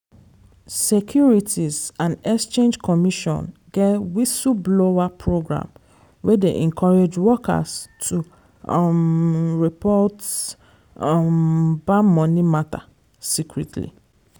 securities and exchange commission get whistle-blower program wey dey encourage workers to um report um bad money matter secretly.